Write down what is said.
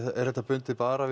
er þetta bundið bara við